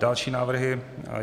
Další návrhy.